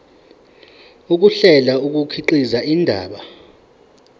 ukuhlela kukhiqiza indaba